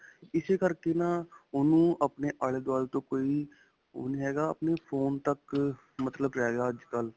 ਇਸੇ ਕਰਕੇ ਨਾ ਓਹਨੂੰ ਆਪਣੇ ਆਲੇ-ਦੁਆਲੇ ਤੋਂ ਕੋਈ ਓਹ ਨਹੀਂ ਹੈਗਾ. ਆਪਣੇ phone ਤੱਕ ਮਤਲਬ ਰਿਹ ਗਿਆ ਅੱਜਕਲ੍ਹ.